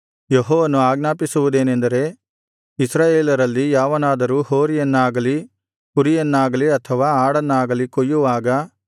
ಯೆಹೋವನು ಆಜ್ಞಾಪಿಸುವುದೇನೆಂದರೆ ಇಸ್ರಾಯೇಲರಲ್ಲಿ ಯಾವನಾದರೂ ಹೋರಿಯನ್ನಾಗಲಿ ಕುರಿಯನ್ನಾಗಲಿ ಅಥವಾ ಆಡನ್ನಾಗಲಿ ಕೊಯ್ಯುವಾಗ